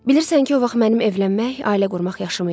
Bilirsən ki, o vaxt mənim evlənmək, ailə qurmaq yaşım idi.